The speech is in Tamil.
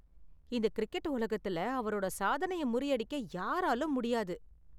இந்த கிரிக்கெட் உலகத்துல அவரோட சாதனையை முறியடிக்க யாராலும் முடியாது.